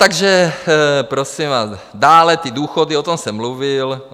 Takže prosím vás, dále ty důchody, o tom jsem mluvil.